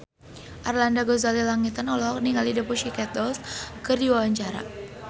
Arlanda Ghazali Langitan olohok ningali The Pussycat Dolls keur diwawancara